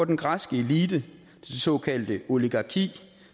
den græske elite det såkaldte oligarki